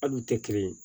Ali u tɛ kelen ye